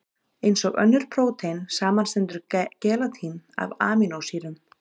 Eins og önnur prótein, samanstendur gelatín af amínósýrum.